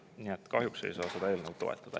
Nii et kahjuks ei saa seda eelnõu toetada.